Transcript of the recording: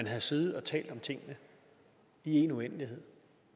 havde siddet og talt om tingene i en uendelighed